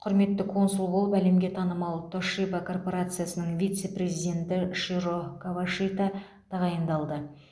құрметті консул болып әлемге танымал тошиба корпорациясының вице президенті широ кавашита тағайындалды